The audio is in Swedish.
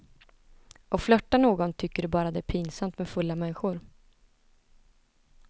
Och flirtar någon, tycker du bara det är pinsamt med fulla människor.